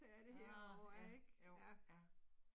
Nåh ja, jo, ja